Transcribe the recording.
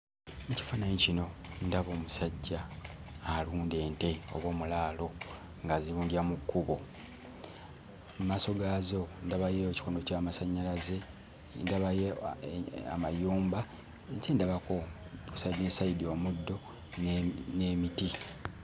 Mu kifaananyi kino ndaba omusajja alunda ente oba omulaalo ng'azirundira mu kkubo mu maaso gaazo ndabayo ekikondo ky'amasannyalaze ndabayo a e amayumba nki ndabako ku sayidi ne sayidi omuddo ne n'emiti.